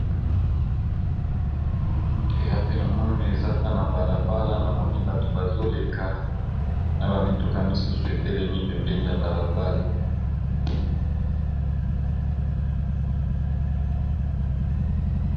Awa penamoni ezaka na balabala na moni bato bazoleka na bamituka misusu etelemi pembeni ya balabala.